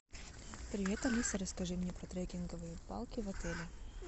привет алиса расскажи мне про трекинговые палки в отеле